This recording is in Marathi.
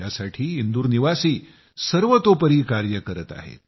त्यासाठी इंदूरनिवासी सर्वतोपरी कार्य करत आहेत